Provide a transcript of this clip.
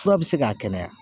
Fura be se k'a kɛnɛya